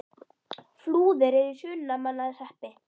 Flúðir er í Hrunamannahreppi.